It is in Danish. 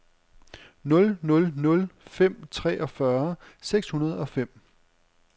nul nul nul fem treogfyrre seks hundrede og fem